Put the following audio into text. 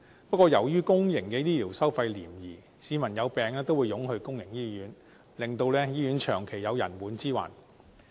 不過，由於公營醫療收費廉宜，市民有病都會湧到公營醫院，令醫院長期有人滿之患。